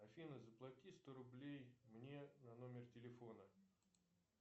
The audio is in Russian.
афина заплати сто рублей мне на номер телефона